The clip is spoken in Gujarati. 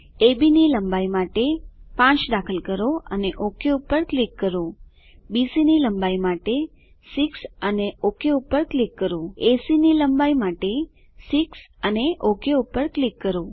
અબ ની લંબાઈ માટે 5 દાખલ કરો અને ઓક પર ક્લિક કરો બીસી ની લંબાઈ માટે 6 અને ઓક પર ક્લિક કરો એસી ની લંબાઈ માટે 6 અને ઓક પર ક્લિક કરો